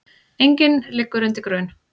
Enginn liggur undir grun